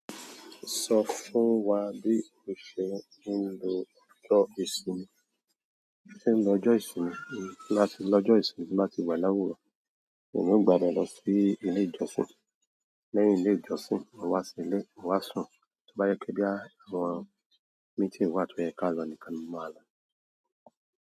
Sọ fún wá bí o ṣe ń lo ọjọ́ ìsinmi. Bí mo ṣe nlọ ọjọ́ ìsimi, tí mbá ti wá lawuro e mi ò gba ibẹ̀ lọ ilé ìjọsìn. Lẹ́yìn ilé ìjọsìn, mo wá sí ilé, mo wá sùn. Tí ó bá jẹ pé bóyá àwọn meeting wà tó yẹ kí a lọ nìkan mo máa lọ.